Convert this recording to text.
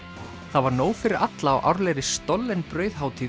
það var nóg fyrir alla á árlegri stollen